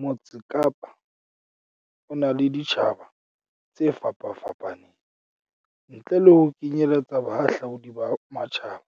"Motse Kapa o na le ditjhaba tse fapafapaneng, ntle le ho kenyeletsa bahahlaudi ba matjhaba,